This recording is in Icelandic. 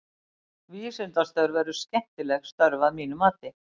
Vísindastörf eru skemmtileg störf að mínu mati.